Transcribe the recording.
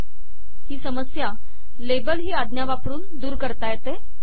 ही label आज्ञा वापरून दूर करता येते